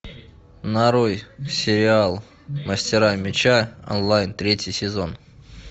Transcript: нарой сериал мастера меча онлайн третий сезон